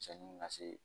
Cɛnni na se